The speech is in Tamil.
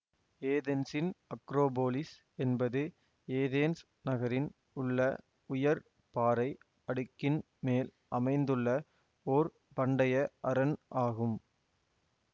ஏதென்ஸின் அக்ரோபோலிஸ் என்பது ஏதேன்ஸ் நகரின் உள்ள உயர் பாறை அடுக்கின் மேல் அமைந்துள்ள ஓர் பண்டைய அரண் ஆகும்